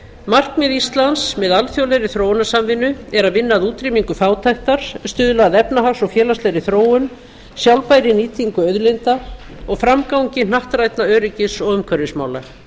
markmið íslands með alþjóðlegri þróunarsamvinnu er að vinna að útrýmingu fátæktar stuðla að efnahags og félagslegri þróun sjálfbærri nýtingu auðlinda og framgangi hnattrænna öryggis og umhverfismála